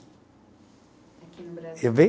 Aqui no Brasil.